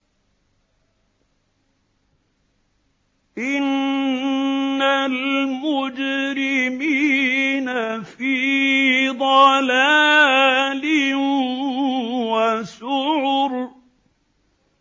إِنَّ الْمُجْرِمِينَ فِي ضَلَالٍ وَسُعُرٍ